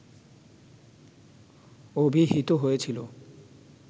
অভিহিত হয়েছিল